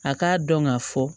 A k'a dɔn ka fɔ